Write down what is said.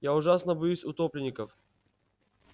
я ужасно боюсь утопленников